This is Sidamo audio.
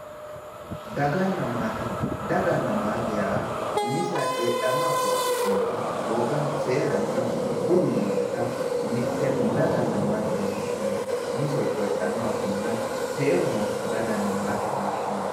dagganna maate dagganna maate yaa umiseha coyeedhanno afoo afidhinota woga, seeranna, budu nooseta mittenni dagganna maate yine woshshinanni umisehu coyeedhanno afiinna seeru nooseta dagganna maate yine woshshinanni